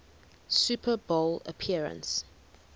super bowl appearance